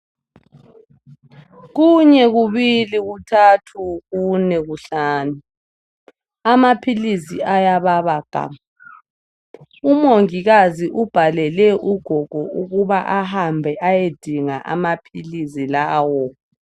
Kunye, kubili, kuthathu kune, kuhlanu. Amaphilisi ayababa gamu. Umongikazi ubhalele ugogo ukuba ahambe ayedinga amaphilisi lawo.